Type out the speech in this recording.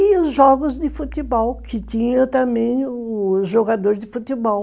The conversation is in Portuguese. E os jogos de futebol, que tinha também os jogadores de futebol.